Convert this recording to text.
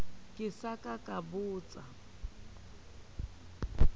ke sa ka ka botsa